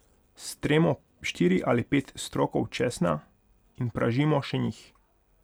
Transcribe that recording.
Stremo štiri ali pet strokov česna in pražimo še njih.